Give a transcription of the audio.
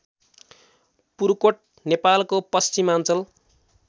पुर्कोट नेपालको पश्चिमाञ्चल